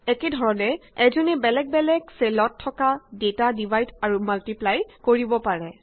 একেধৰণে এজনে বেলেগ বেলেগ চেলত থকা ডেটা ডিভাইড আৰু মাল্টিপ্লাই কৰিব পাৰো